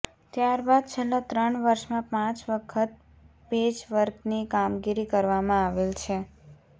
ત્યારબાદ છેલ્લા ત્રણ વર્ષમાં પાંચ વખત પેચવર્કની કામગીરી કરવામાં આવેલ છે